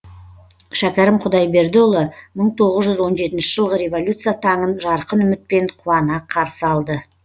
шәкәрім құдайбердіұлы мың тоғыз жүз он жетінші жылғы революция таңын жарқын үмітпен қуана қарсы алды